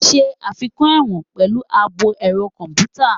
Enhance prison with computerized security